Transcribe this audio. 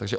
Ano?